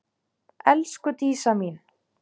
Elsku Dísa mín.